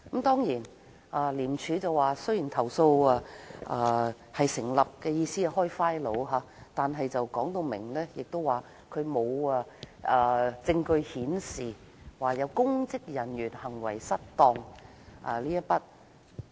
當然，廉署表示投訴成立，意思是可以就此事開立檔案，但後來指出沒有證據顯示有公職人員行為失當。